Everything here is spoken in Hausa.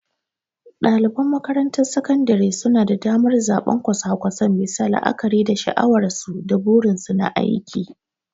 Daliban makarantar sakandare suna da damar zabar kwasa-kwasan bisa la'akari da sha'awarsu da burinsu na aiki.